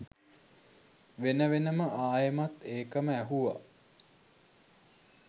වෙන වෙනම ආයෙමත් ඒකම ඇහුවා